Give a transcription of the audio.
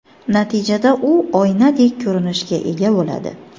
Natijada u oynadek ko‘rinishga ega bo‘ladi.